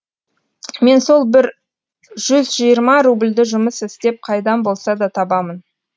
мен сол бір жүзжиырма рубльді жұмыс істеп қайдан болса да табамын